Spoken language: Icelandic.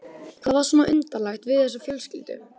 Hvað var svona undarlegt við þessa fjölskyldu?